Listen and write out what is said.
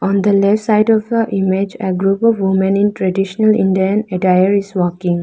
On the left side of the image a group of women in traditional indian attire is walking.